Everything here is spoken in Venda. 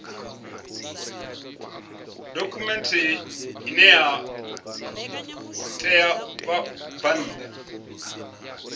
dokhumenthe ine ya ṋea vhabvann